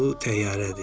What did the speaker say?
Bu təyyarədir.